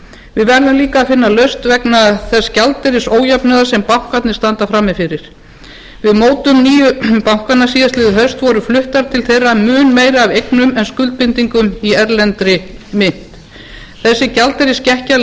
við verðum líka að finna lausn vegna þess gjaldeyrisójafnaðar sem bankarnir standa frammi fyrir við mótun nýju bankanna síðastliðið haust voru fluttar til þeirra mun meira af eignum en en skuldbindingum í erlendri mynt þessi gjaldeyrisskekkja leiðir